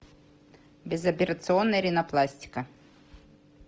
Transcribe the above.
безоперационная ринопластика